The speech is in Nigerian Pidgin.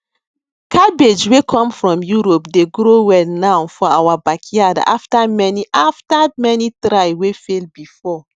cabbage wey come from europe dey grow well now for our backyard after many after many try wey fail before